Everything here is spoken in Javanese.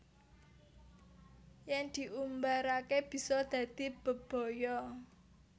Yen diumbarake bisa dadi bebaya